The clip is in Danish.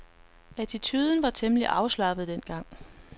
Attituden var temmelig afslappet dengang.